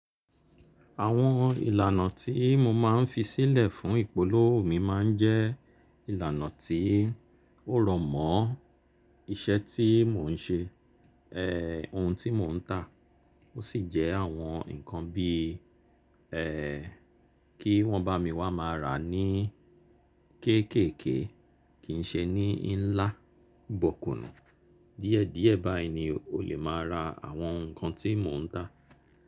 Àwọn ìlànà tí mo máa ń fi sílẹ̀ fún ìpolówó mi máa ń jẹ́ ìlànà tí ó rọ̀mọ́ iṣẹ́ tí mò ń ṣe, ohun tí mò ń tà ó sì jẹ́ àwọn nǹkan bí i kí wọ́n bá mi wá máa rà ní kéékèèké kì ń ṣe ní ńlá, bó kùnù. Díẹ̀ díẹ̀ báyi ni ó lè máa ra àwọn nǹkan tí mò ń tà.